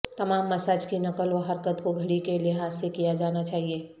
تمام مساج کی نقل و حرکت کو گھڑی کے لحاظ سے کیا جانا چاہئے